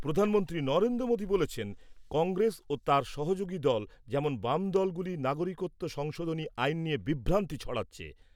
প্রধানমন্ত্রী নরেন্দ্র মোদি বলেছেন, কংগ্রেস ও তার সহযোগী দল যেমন বামদলগুলি নাগরিকত্ব সংশোধনী আইন নিয়ে বিভ্রান্তি ছড়াচ্ছে।